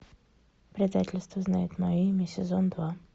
предательство знает мое имя сезон два